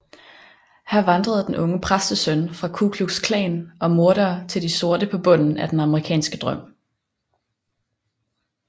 Her vandrede den unge præstesøn fra Ku Klux Klan og mordere til de sorte på bunden af den amerikanske drøm